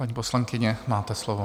Paní poslankyně, máte slovo.